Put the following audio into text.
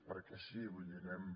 perquè sí vull dir anem